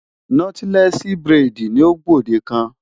Nọ́tílẹ́ẹ̀sì buredì ni ó gbòdekan.